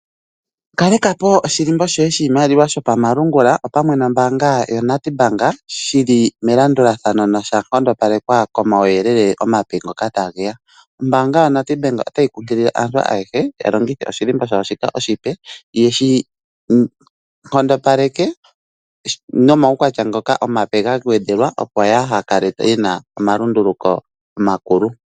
Kaleka po oshilimbo shoye shiimaliwa shopamalungula opamwe nombaanga yaNedbank shili melandulathano noshankondopalekwa komawuyelele omape ngoka tageya. Ombaanga yaNedbank otayi kunkilile aantu ayehe yalongithe oshilimbo shawo shika oshipe yeshinkondopaleke nomawukwatya ngoka omape gagwedhelwa opo yahakale yena omalunduluko omakulu.